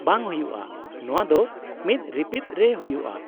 -ᱵᱟᱝ ᱦᱩᱭᱩᱜᱼᱟ, ᱱᱚᱶᱟ ᱫᱚ ᱢᱤᱫ ᱨᱤᱯᱤᱫ ᱨᱮ ᱦᱩᱭᱩᱜᱼᱟ ᱾